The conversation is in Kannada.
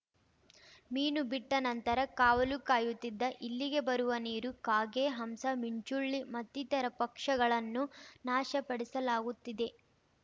ಮೀನು ಬಿಟ್ಟನಂತರ ಕಾವಲು ಕಾಯುತ್ತಿದ್ದ ಇಲ್ಲಿಗೆ ಬರುವ ನೀರು ಕಾಗೆ ಹಂಸ ಮಿಂಚುಳ್ಳಿ ಮತ್ತಿತರ ಪಕ್ಷಗಳನ್ನು ನಾಶಪಡಿಸಲಾಗುತ್ತಿದೆ